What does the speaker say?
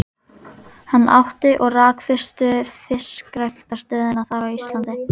Hann átti og rak fyrstu fiskræktarstöðina þar í landi.